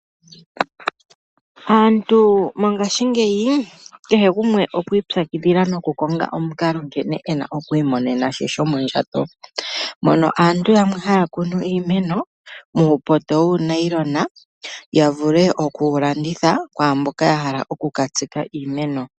Aantu mongashingeyi kehe gumwe okwi ipyakidhila noku konga omukalo nkene ena oku imonena she shomondjato, mono aantu yamwe haya kunu iimeno muupoto wuu nayilona ya vule okuwu landitha kwaamboka ya hala oku ka tsika iimeno.